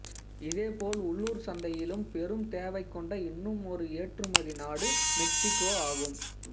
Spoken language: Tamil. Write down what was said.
இதேபோல் உள்ளூர் சந்தையிலும் பெரும் தேவை கொண்ட இன்னுமொரு ஏற்றுமதி நாடு மெக்சிகோ ஆகும்